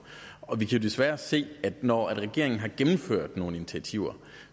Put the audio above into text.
og vi kan desværre se at når regeringen har gennemført nogle initiativer